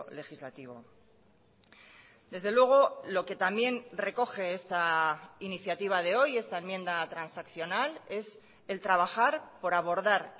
legislativo desde luego lo que también recoge esta iniciativa de hoy esta enmienda transaccional es el trabajar por abordar